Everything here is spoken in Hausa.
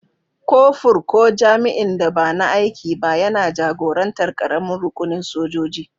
Kofur, ko jami'in da ba na aiki ba, yana jagorantar ƙaramin rukunin sojoji.